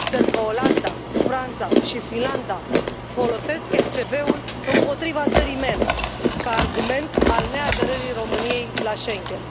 Țări ca Olanda, Franța și Finlanda folosesc MCV ul împotriva țării mele ca argument al neaderării României la Schengen.